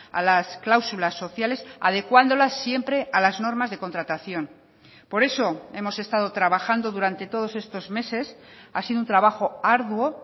a las cláusulas sociales adecuándolas siempre a las normas de contratación por eso hemos estado trabajando durante todos estos meses ha sido un trabajo arduo